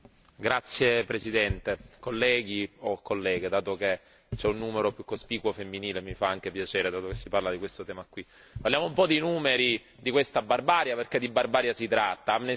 Signora Presidente, onorevoli colleghi o colleghe, dato che c'è un numero più cospicuo femminile e mi fa anche piacere dato che si parla di questo tema. Parliamo un po' di numeri di questa barbarie, perché di barbarie si tratta.